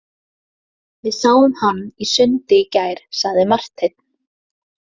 Við sáum hann í sundi í gær, sagði Marteinn.